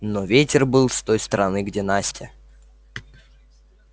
но ветер был с той стороны где настя